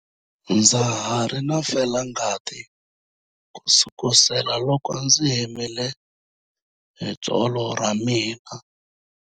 Ndza ha ri na felangati kusukela loko ndzi himile hi tsolo ra mina.